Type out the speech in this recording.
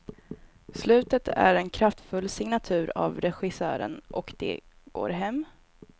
Slutet är en kraftfull signatur av regissören, och det går hem.